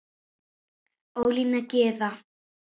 Ólína Gyða.